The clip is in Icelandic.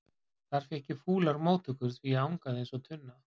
Þar fékk ég fúlar móttökur því ég angaði eins og tunna.